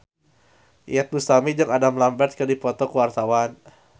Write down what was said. Iyeth Bustami jeung Adam Lambert keur dipoto ku wartawan